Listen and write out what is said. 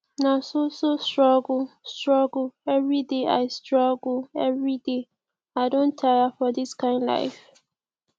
na so so struggle struggle everyday i struggle everyday i don tire for dis kind life